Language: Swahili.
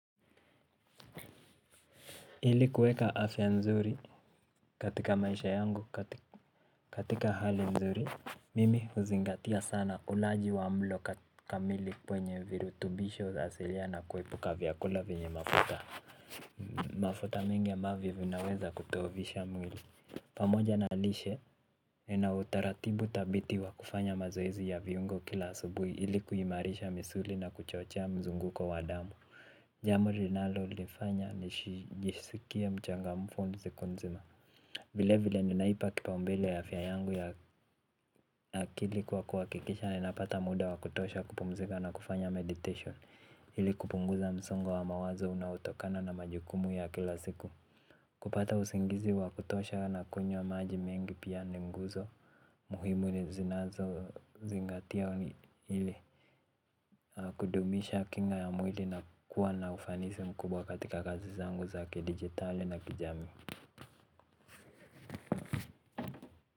Ili kuweka afya nzuri katika maisha yangu katika hali mzuri mimi huzingatia sana ulaji wa mlo kamili kwenye virutubisho asilia na kuepuka vyakula vyenye mafuta. Mafuta mengi ambavyo vinaweza kudhoofisha mwili. Pamoja na lishe ina utaratibu thabiti wa kufanya mazoezi ya viungo kila asubuhi ili kuimarisha misuli na kuchochea mzunguko wa damu. Jambo linalo lifanya nisijisikie mchangamfu siku nzima. Vile vile ninaipa kipaumbele afya yangu ya akili kwa kuhakikisha ninapata muda wakutosha kupumzika na kufanya meditation. Ili kupunguza msongo wa mawazo unaotokana na majukumu ya kila siku. Kupata usingizi wakutosha na kunywa maji mengi pia ni nguzo. Muhimu ni zinazo zingatia hili. Kudumisha kinga ya mwili na kuwa na ufanisi mkubwa katika kazi zangu za kidigitali na kijamii.